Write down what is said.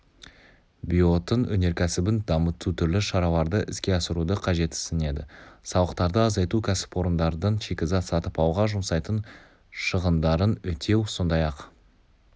биоотын өнеркәсібін дамыту түрлі шараларды іске асыруды қажетсінеді салықтарды азайту кәсіпорындардың шикізат сатып алуға жұмсайтын шығындарын өтеу сондай-ақ